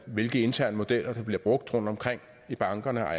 hvilke interne modeller der bliver brugt rundtomkring i bankerne og